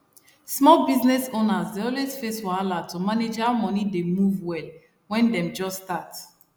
small business owners dey always face wahala to manage how moni dey move well when dem just start